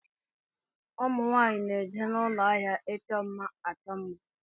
Ụmụnwaanyi na-eje n'ụlọ áhiá ịchọ mma achọ mma.